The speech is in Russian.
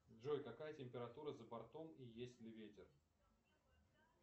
джой какая температура за бортом и есть ли ветер